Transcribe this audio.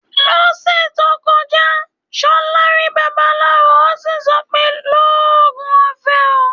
Lọ́sẹ̀ tó kọjá, Ṣọlá rí babaláwo, ó sì sọ pé "lóògùn ọfẹ o".